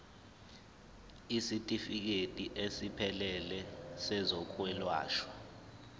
isitifikedi esiphelele sezokwelashwa